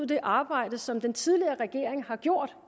det arbejde som den tidligere regering har gjort